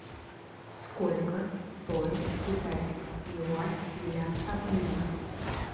сколько стоит китайский юань для обмена